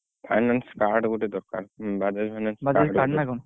Finance card ଗୋଟେ ଦରକାର Bajaj finance